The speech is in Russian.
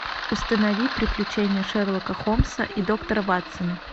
установи приключения шерлока холмса и доктора ватсона